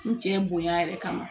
N cɛ bonya yɛrɛ kama